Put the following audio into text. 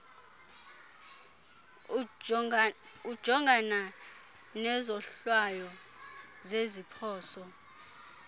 ujongana nezohlwayo zeziphoso